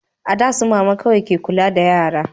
a da su mama kawai ke kula da yara